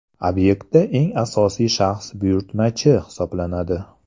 Obyektda eng asosiy shaxs buyurtmachi hisoblanadi.